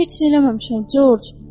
Heç nə eləməmişəm, Corc.